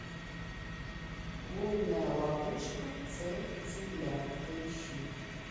лунная ловушка цель земля поищи